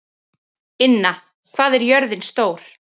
Inna, hvað er jörðin stór?